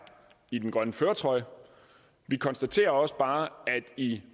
i den grønne førertrøje vi konstaterer også bare at i